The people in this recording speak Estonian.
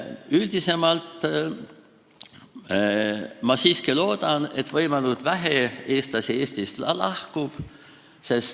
Üldiselt ma siiski loodan, et võimalikult vähe eestlasi Eestist lahkub.